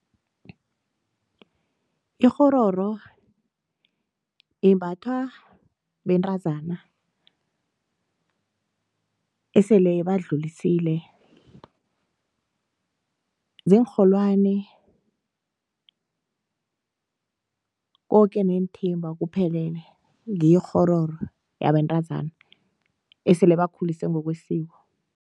Ikgororo imbathwa bentazana esele badlulisile, ziinrholwani koke neenthimba kuphelele, ngiyo ikghororo yabentazana esele bakhulisiwe ngokwesiko.